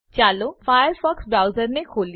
ચાલો ફાયરફોક્સ બ્રાઉઝરને ખોલીએ